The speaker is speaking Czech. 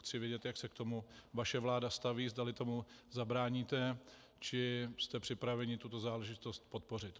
Chci vědět, jak se k tomu vaše vláda staví, zdali tomu zabráníte, či jste připraveni tuto záležitost podpořit.